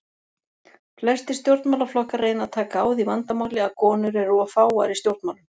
Flestir stjórnmálaflokkar reyna að taka á því vandamáli að konur eru of fáar í stjórnmálum.